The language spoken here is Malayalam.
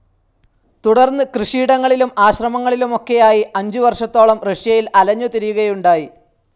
തുടർന്ന് കൃഷിയിടങ്ങളിലും, ആശ്രമങ്ങളിലുമൊക്കെയായി അഞ്ചുവർഷത്തോളം റഷ്യയിൽ അലഞ്ഞുതിരിയുകയുണ്ടായി.